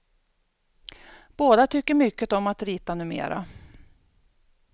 Båda tycker mycket om att rita numera.